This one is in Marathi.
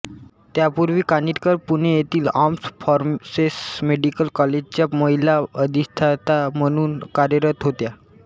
त्यापूर्वी कानिटकर पुणे येथील आर्म्ड फोर्सेस मेडीकल कॉलेजच्या महिला अधिष्ठाता म्हणून कार्यरत होत्या